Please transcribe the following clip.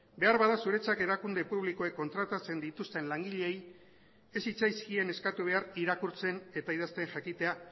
beharbada zuretzat erakunde publikoek kontratatzen dituzten langileei ez zitzaizkien eskatu behar irakurtzen eta idazten jakitea